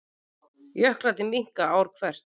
Jöklarnir minnka ár hvert